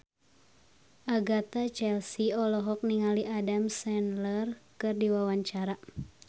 Agatha Chelsea olohok ningali Adam Sandler keur diwawancara